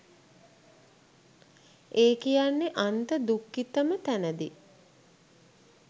ඒ කියන්නෙ අන්ත දුක්ඛිතම තැනදි